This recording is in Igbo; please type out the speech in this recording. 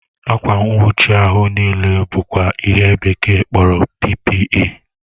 Akwa nwuchi ahu n'ile bụkwa ihe bekee kpọrọ PPE